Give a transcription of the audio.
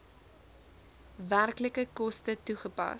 werklike koste toegepas